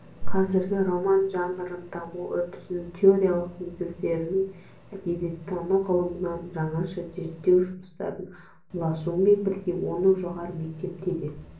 қазіргі роман жанрын даму үрдісінің теориялық негіздерінің әдебиеттану ғылымынан жаңаша зерттеу жұмыстарына ұласуымен бірге оны жоғары мектепте де